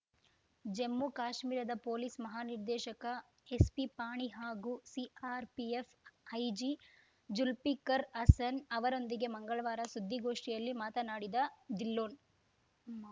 ಜಮ್ಮು ಕಾಶ್ಮೀರದ ಪೊಲೀಸ್‌ ಮಹಾನಿರ್ದೇಶಕ ಎಸ್‌ಪಿಪಾಣಿ ಹಾಗೂ ಸಿಆರ್‌ಪಿಎಫ್‌ ಐಜಿ ಜುಲ್ಫಿಕರ್‌ ಹಸನ್‌ ಅವರೊಂದಿಗೆ ಮಂಗಳವಾರ ಸುದ್ದಿಗೋಷ್ಠಿಯಲ್ಲಿ ಮಾತನಾಡಿದ ಧಿಲ್ಲೋನ್‌